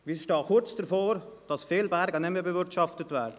Wir stehen kurz davor, dass viele Berge nicht mehr bewirtschaftet werden.